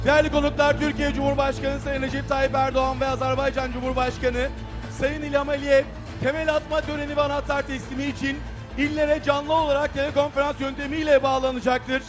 Dəyərli qonaqlar, Türkiyə Cümhurbaşqanı Sayın Rəcəb Tayyip Ərdoğan və Azərbaycan Cümhurbaşqanı Sayın İlham Əliyev təməl atma törəni və anahtarlar təslimi üçün illərə canlı olaraq telekonferans yöntəmi ilə bağlanacaqdır.